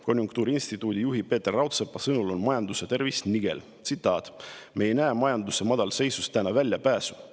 Konjunktuuriinstituudi juhi Peeter Raudsepa sõnul on majanduse tervis nigel: "Me ei näe majanduse madalseisust täna väljapääsu.